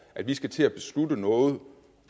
at vi skal til at beslutte noget